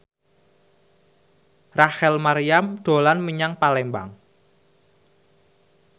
Rachel Maryam dolan menyang Palembang